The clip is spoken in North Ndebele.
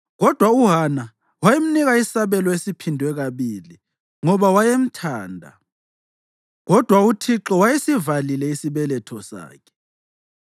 Kodwa uHana wayemnika isabelo esiphindwe kabili ngoba wayemthanda, kodwa uThixo wayesivalile isibeletho sakhe.